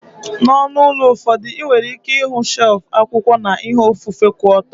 N'onu ụlọ ụfọdụ, ị nwere ike ịhụ shelfu akwụkwọ na ihe ofufe ku oto.